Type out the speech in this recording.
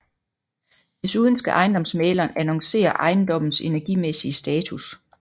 Desuden skal ejendomsmægleren annoncere ejendommens energimæssige status